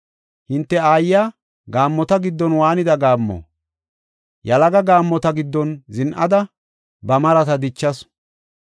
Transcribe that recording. “Hinte aayiya gaammota giddon waanida gaammo! Yalaga gaammota giddon zin7ada, ba marata dichasu.